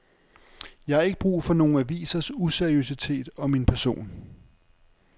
Jeg har ikke brug for nogle avisers useriøsitet om min person.